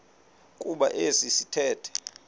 kuba esi sithethe